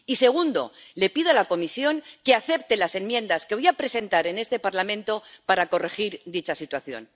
Y, segundo, le pido a la Comisión que acepte las enmiendas que voy a presentar en este Parlamento para corregir dicha situación.